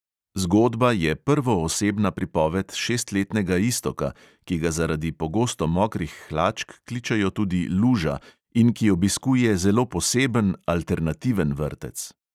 Zgodba je prvoosebna pripoved šestletnega iztoka, ki ga zaradi pogosto mokrih hlačk kličejo tudi luža in ki obiskuje zelo poseben, alternativen vrtec.